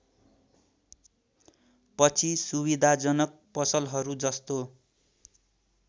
पछि सुविधाजनक पसलहरूजस्तो